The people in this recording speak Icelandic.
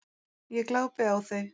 Ég glápi á þau.